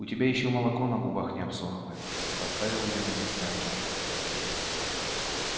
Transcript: у тебя ещё молоко на губах не обсохло поставил её на место артём